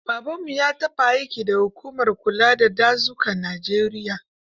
Babanmu ya taɓa aiki da hukumar kula da dazukan Najeriya.